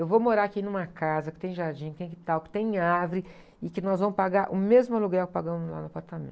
Eu vou morar aqui numa casa que tem jardim, que tem quintal, que tem árvore, e que nós vamos pagar o mesmo aluguel que pagamos lá no apartamento.